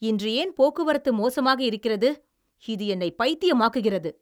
இன்று ஏன் போக்குவரத்து மோசமாக இருக்கிறது, இது என்னை பைத்தியமாக்குகிறது!